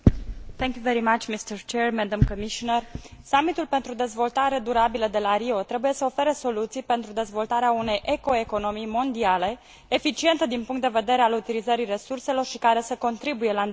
Summitul pentru dezvoltare durabilă de la Rio trebuie să ofere soluții pentru dezvoltarea unei eco economii mondiale, eficientă din punct de vedere al utilizării resurselor și care să contribuie la îndeplinirea obiectivelor mileniului.